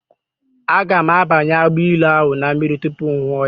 Aga m abanye agbailu ahụ na mmiri tupu ṅụwa ya.